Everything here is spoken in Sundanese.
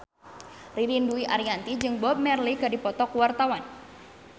Ririn Dwi Ariyanti jeung Bob Marley keur dipoto ku wartawan